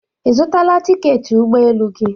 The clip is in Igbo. Ị zụtala tiketi ụgbọ elu gị?